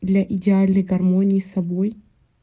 для идеальной гармонии с собой